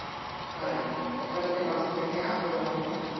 Karen: Og hvernig valdirðu gjafir ofan í pakkann?